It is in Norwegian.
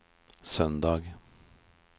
søndag